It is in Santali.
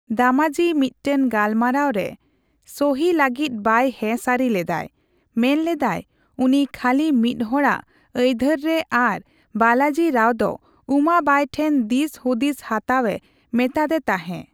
ᱫᱟᱢᱟᱡᱤ ᱢᱤᱫᱴᱟᱝ ᱜᱟᱞᱢᱟᱨᱟᱣ ᱨᱮ ᱥᱚᱦᱤ ᱞᱟᱹᱜᱤᱫ ᱵᱟᱭ ᱦᱮᱸ ᱥᱟᱹᱨᱤ ᱞᱮᱫᱟᱭ ᱾ ᱢᱮᱱᱞᱮᱫᱟᱭ ᱩᱱᱤ ᱠᱷᱟᱹᱞᱤ ᱢᱤᱫᱦᱚᱲ ᱟᱜ ᱟᱹᱭᱫᱷᱟᱹᱨᱨᱮ ᱟᱨ ᱵᱟᱞᱟᱡᱤ ᱨᱟᱣ ᱫᱚ ᱩᱢᱟᱵᱟᱝ ᱴᱷᱮᱱ ᱫᱤᱥ ᱦᱩᱫᱤᱥ ᱦᱟᱛᱟᱣ ᱮ ᱢᱮᱛᱟᱛᱮ ᱛᱟᱸᱦᱮ ᱾